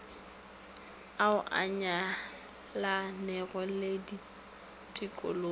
ao a nyalanego le ditikologo